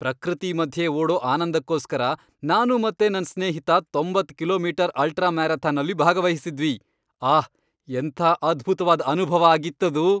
ಪ್ರಕೃತಿ ಮಧ್ಯೆ ಓಡೋ ಆನಂದಕ್ಕೋಸ್ಕರ, ನಾನು ಮತ್ತೆ ನನ್ ಸ್ನೇಹಿತ ತೊಂಬತ್ ಕಿಲೋಮೀಟರ್ ಅಲ್ಟ್ರಾ ಮ್ಯಾರಥಾನಲ್ಲಿ ಭಾಗವಹಿಸಿದ್ವಿ. ಆಹ್! ಎಂಥ ಅದ್ಭುತ್ವಾದ್ ಅನುಭವ ಆಗಿತ್ತದು!